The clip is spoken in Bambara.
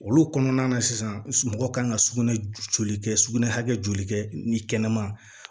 Olu kɔnɔna na sisan mɔgɔ kan ka sugunɛ joli kɛ sugunɛ hakɛ joli kɛ ni kɛnɛma